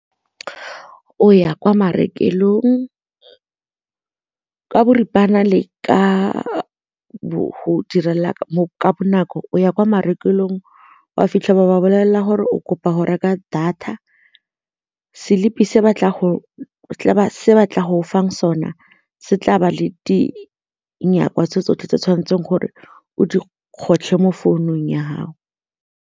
O ya kwa marekelong ka boripana le ka go direla mo ka bonako, o ya kwa marekelong o a fitlhela ba bolelela gore o kopa go reka data selipi se batla go fang sona se tla ba le dilonyana tse tsotlhe tse tshwanetseng gore o di kgotlhe mo founung ya gago.